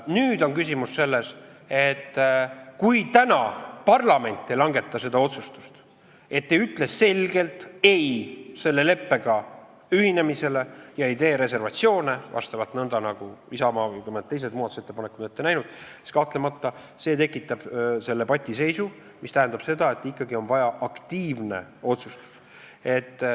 Nüüd on küsimus selles, et kui täna parlament ei langeta seda otsustust, ei ütle selgelt ei selle leppega ühinemisele ega tee reservatsioone, nõnda nagu Isamaa ja mõnede teiste muudatusettepanekud on ette näinud, siis see kahtlemata tekitab debatiseisu, mis tähendab, et ikkagi on vaja aktiivset otsustust.